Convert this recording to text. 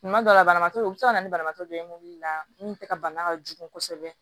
Tuma dɔ la banabaatɔ u bɛ se ka na ni banabaatɔ dɔ ye mun tɛ ka bana ka jugu kosɛbɛ